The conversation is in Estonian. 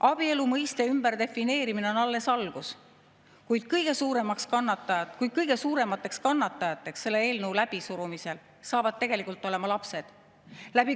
Abielu mõiste ümberdefineerimine on alles algus, kuid kõige suuremateks kannatajateks selle eelnõu läbisurumisel saavad olema lapsed.